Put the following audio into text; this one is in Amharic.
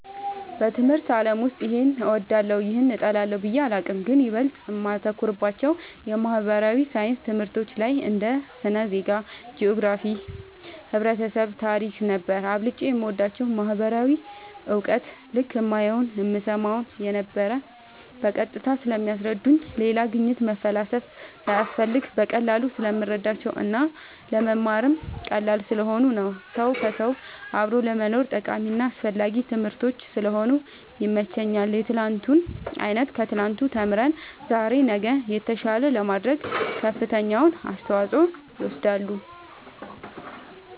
በትምህርት አለም ውስጥ ይሄን እወዳለሁ ይህን እጠላለሁ ብየ አላቅም ግን ይበልጥ እማተኩርባቸው የማህበራዊ ሣይንስ ትምህርቶች ላይ እንደ ስነ ዜጋ ,ጅኦግራፊክስ ,ህብረተሰብ ,ታሪክ ነበር አብልጨም የምወዳቸው ማህበራዊ እውቀት ልክ እማየውን እምሰማውን የነበረው በቀጥታ ስለሚያስረዱኝ ሌላ ግኝት መፈላሰፍ ሳያስፈልግ በቀላሉ ስለምረዳቸው እና ለመማርም ቀላል ስለሆኑ ነው ሰው ከውሰው አብሮ ለመኖርም ጠቃሚና አስፈላጊ ትምህርቶች ስለሆኑ ይመቸኛል የትናንቱን አይተን ከትናንቱ ተምረን ዛሬ ነገን የተሻለ ለማድረግ ከፍተኛውን አስተዋፅኦ ይወስዳሉ